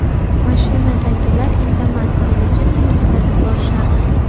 Mashinadagilar indamas, meni jimgina kuzatib borishardi.